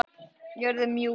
Jörðin mjúk.